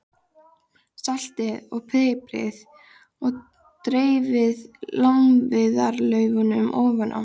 Saltið og piprið og dreifið lárviðarlaufunum ofan á.